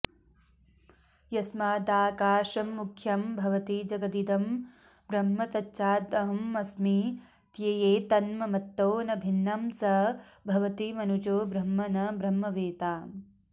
यस्मादाकाशमुख्यं भवति जगदिदं ब्रह्म तच्चाहमस्मी त्येतन्मत्तो न भिन्नं स भवति मनुजो ब्रह्म न ब्रह्मवेत्ता